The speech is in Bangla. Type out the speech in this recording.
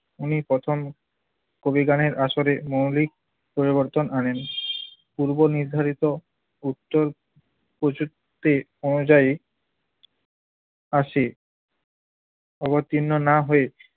উনি প্রথম কবি গানের আসরে মৌলিক পরিবর্তন আনেন। পূর্বনির্ধারিত উত্তর অনুযায়ী আসে। অবতীর্ণ না হয়ে